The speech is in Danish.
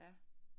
Ja